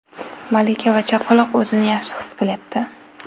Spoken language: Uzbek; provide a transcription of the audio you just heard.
Malika va chaqaloq o‘zini yaxshi his qilyapti.